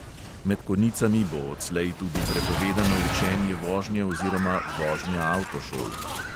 Med konicami bo odslej tudi prepovedano učenje vožnje oziroma vožnja avtošol.